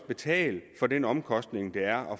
betale for den omkostning der er